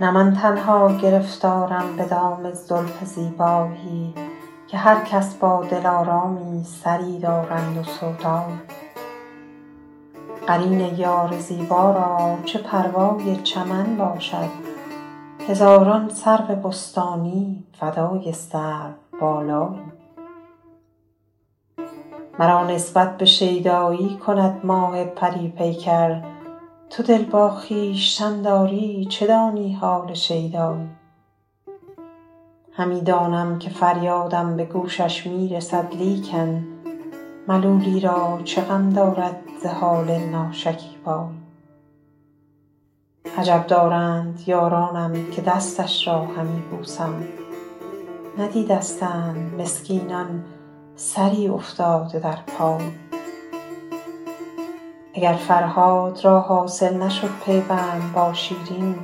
نه من تنها گرفتارم به دام زلف زیبایی که هر کس با دلآرامی سری دارند و سودایی قرین یار زیبا را چه پروای چمن باشد هزاران سرو بستانی فدای سروبالایی مرا نسبت به شیدایی کند ماه پری پیکر تو دل با خویشتن داری چه دانی حال شیدایی همی دانم که فریادم به گوشش می رسد لیکن ملولی را چه غم دارد ز حال ناشکیبایی عجب دارند یارانم که دستش را همی بوسم ندیدستند مسکینان سری افتاده در پایی اگر فرهاد را حاصل نشد پیوند با شیرین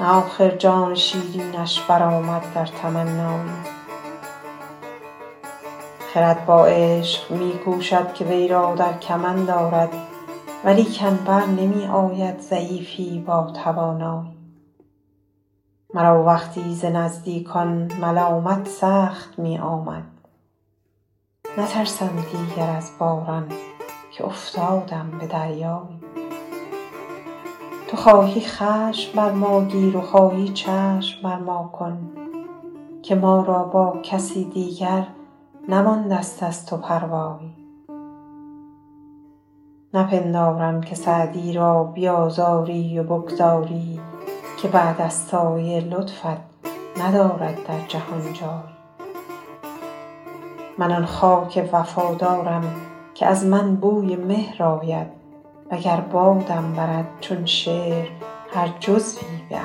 نه آخر جان شیرینش برآمد در تمنایی خرد با عشق می کوشد که وی را در کمند آرد ولیکن بر نمی آید ضعیفی با توانایی مرا وقتی ز نزدیکان ملامت سخت می آمد نترسم دیگر از باران که افتادم به دریایی تو خواهی خشم بر ما گیر و خواهی چشم بر ما کن که ما را با کسی دیگر نمانده ست از تو پروایی نپندارم که سعدی را بیآزاری و بگذاری که بعد از سایه لطفت ندارد در جهان جایی من آن خاک وفادارم که از من بوی مهر آید و گر بادم برد چون شعر هر جزوی به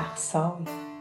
اقصایی